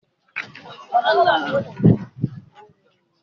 Ọmọ dúdú ni Bísí tẹ́lẹ̀.